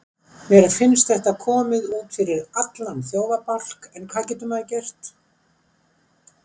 Mér finnst þetta komið út fyrir allan þjófabálk en hvað getur maður gert?